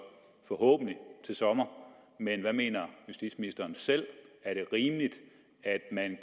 forhåbentlig til sommer men hvad mener justitsministeren selv er det rimeligt at man